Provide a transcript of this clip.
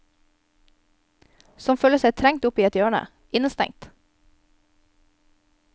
Som føler seg trengt opp i et hjørne, innestengt.